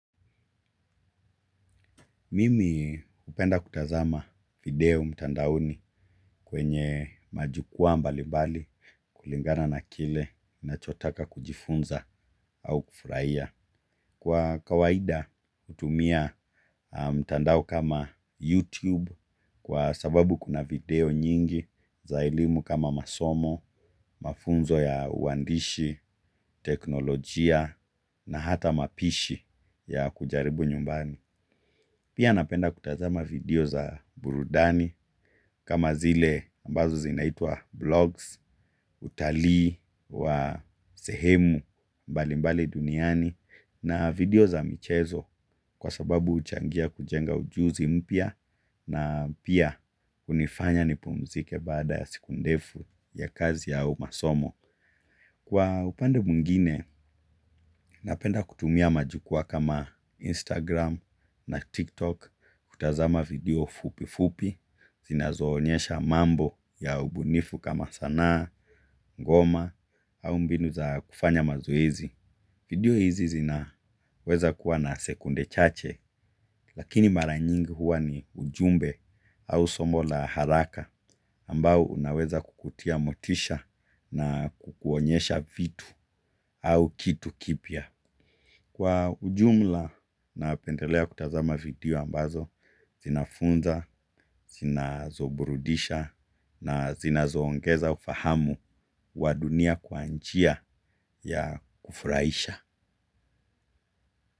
Mimi upenda kutazama video mtandaoni kwenye majukuwaa mbalimbali kulingana na kile ninachotaka kujifunza au kufurahia. Kwa kawaida hutumia mtandao kama YouTube kwa sababu kuna video nyingi za elimu kama masomo, mafunzo ya uandishi, teknolojia na hata mapishi ya kujaribu nyumbani. Pia napenda kutazama video za burudani kama zile ambazo zinaitwa blogs, utalii wa sehemu balimbali duniani na video za michezo kwa sababu uchangia kujenga ujuzi mpya na pia kunifanya nipumzike baada ya siku ndefu ya kazi au masomo. Kwa upande mwingine, napenda kutumia majukwaa kama Instagram na TikTok, kutazama video fupifupi zinazoonyesha mambo ya ubunifu kama sanaa, ngoma au mbinu za kufanya mazoezi. Video hizi zinaweza kuwa na sekunde chache lakini mara nyingi huwa ni ujumbe au somo la haraka ambao unaweza kukutia motisha na kukuonyesha vitu au kitu kipya. Kwa ujumla napendelea kutazama video ambazo zinafunza, zinazoburudisha na zinazoongeza ufahamu wa dunia kwa njia ya kufurahisha.